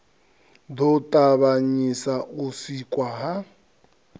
ḓo ṱavhanyisa u sikwa ha